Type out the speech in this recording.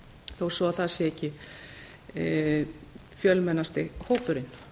þó svo að það sé ekki fjölmennasti hópurinn